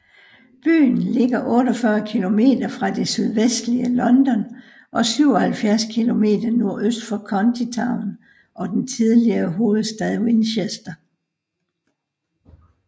Byen ligger 48 km fra det sydvestlige London og 77 km nordøst for county town og den tidligere hovedstad Winchester